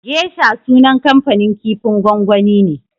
Geisha sunan kamfanin kifin gwangwani ne.